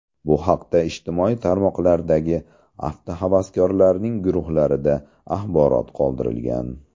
Bu haqda ijtimoiy tarmoqlardagi avtohavaskorlarning guruhlarida axborot qoldirilgan.